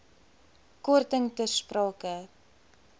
korting ter sprake